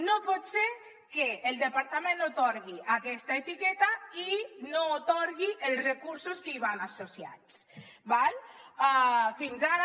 no pot ser que el departament atorgui aquesta etiqueta i no atorgui els recursos que hi van associats d’acord fins ara